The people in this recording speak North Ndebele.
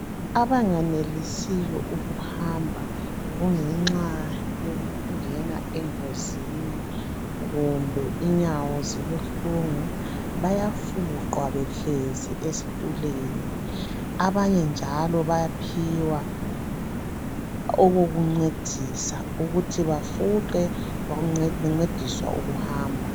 Abanganelisiyo ukuhamba kungenxa yokungena engozini kumbe inyawo zibuhlungu bayafuqwa behlezi esitulweni. Abanye njalo bayaphiwa okokuncedisa ukuthi bafuqe bencediswa ukuhamba.